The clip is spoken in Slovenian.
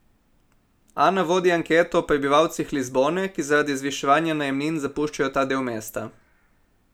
Ana vodi anketo o prebivalcih Lizbone, ki zaradi zviševanja najemnin zapuščajo ta del mesta.